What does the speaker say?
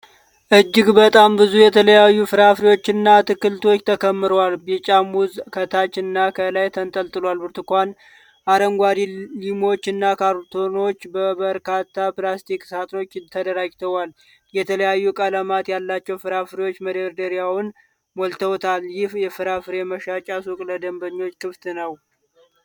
እጅግ በጣም ብዙ የተለያዩ ፍራፍሬዎችና አትክልቶች ተከምረዋል። ቢጫ ሙዝ ከታች እና ከላይ ተንጠልጥሏል፤ ብርቱካን፣ አረንጓዴ ሊሞች እና ካሮቶች በበርካታ ፕላስቲክ ሳጥኖች ተደራጅተዋል። የተለያዩ ቀለማት ያላቸው ፍራፍሬዎች መደርደሪያውን ሞልተውታል። ይህ የፍራፍሬ መሸጫ ሱቅ ለደንበኞች ክፍት ነው?